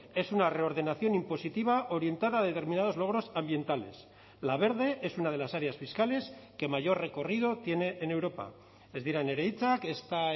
es una reordenación impositiva orientada a determinados logros ambientales la verde es una de las áreas fiscales que mayor recorrido tiene en europa ez dira nire hitzak ezta